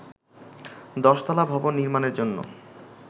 দশতলা ভবন নির্মাণের জন্য